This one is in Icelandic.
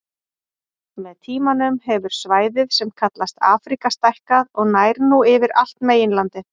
Með tímanum hefur svæðið sem kallast Afríka stækkað og nær nú yfir allt meginlandið.